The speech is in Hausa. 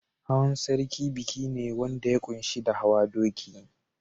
Hawan sarki biki ne wanda ya ƙunshi da hawa doki.